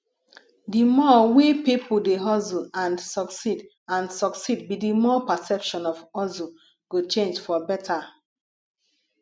di more we peolpe dey hustle and succeed and succeed be di more perception of hustle go change for beta